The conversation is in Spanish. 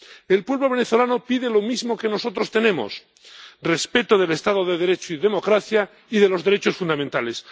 El pueblo venezolano pide lo mismo que nosotros tenemos respeto del Estado de Derecho y democracia y respeto de los derechos fundamentales.